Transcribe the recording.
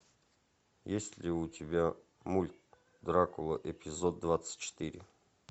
есть ли у тебя мульт дракула эпизод двадцать четыре